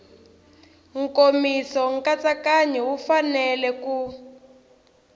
nkomiso nkatsakanyo wu fanele ku